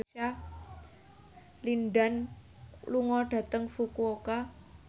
Lin Dan lunga dhateng Fukuoka